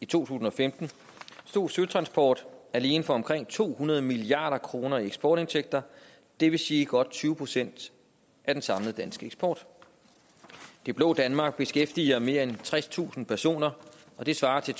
tusind og femten stod søtransport alene for omkring to hundrede milliard kroner i eksportindtægter det vil sige godt tyve procent af den samlede danske eksport det blå danmark beskæftiger mere end tredstusind personer og det svarer til